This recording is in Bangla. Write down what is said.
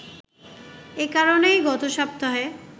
এই কারণেই গত সপ্তাহে